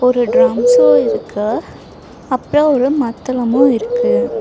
ஒரு ட்ரம்ஸு இருக்கு அப்றோ ஒரு மத்தளமோ இருக்கு.